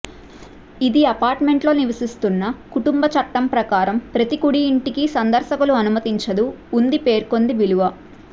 ఇది అపార్ట్మెంట్ లో నివసిస్తున్న కుటుంబ చట్టం ప్రకారం ప్రతి కుడి ఇంటికి సందర్శకులు అనుమతించదు ఉంది పేర్కొంది విలువ